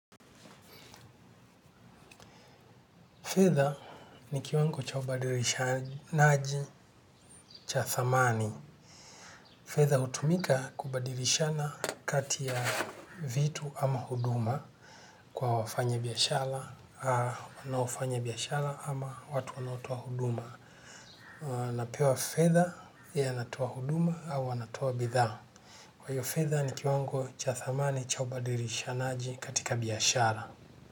Fedha ni kiwango cha ubadirishanaji cha thamani. Fedha hutumika kubadirishana kati ya vitu ama huduma kwa wafanya biashara, wanaofanya biashara ama watu wanaotoa huduma. Napewa fedha yeye anatoa huduma au anatoa bidhaa. Kwa hiyo fedha ni kiwango cha thamani chaubadirishanaji katika biashara.